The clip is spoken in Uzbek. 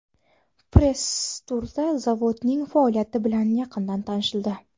Press-turda zavodning faoliyati bilan yaqindan tanishildi.